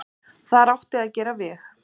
Þar átti að gera veg.